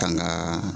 Tangaa